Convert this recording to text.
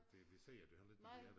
Det vi ser det heller ikke når vi er der